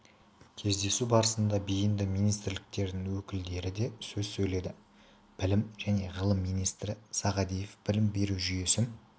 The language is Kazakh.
кездесу барысында бейінді министрліктердің өкілдері де сөз сөйледі білім және ғылым министрі сағадиев білім беру жүйесін